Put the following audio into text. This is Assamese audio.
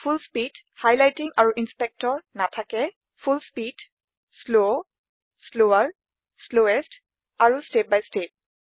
ফুল স্পীড হাইলাইটিং আৰু ইন্সপেক্টৰ নাথাকে full speed slow slower slowest আৰু step by ষ্টেপ